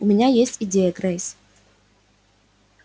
у меня есть идея грейс